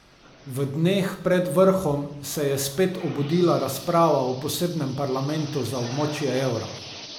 V dneh pred vrhom se je spet obudila razprava o posebnem parlamentu za območje evra.